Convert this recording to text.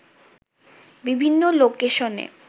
বিভিন্ন লোকেশনে